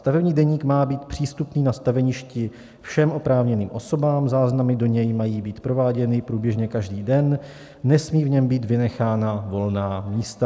Stavební deník má být přístupný na staveništi všem oprávněným osobám, záznamy do něj mají být prováděny průběžně každý den, nesmí v něm být vynechána volná místa.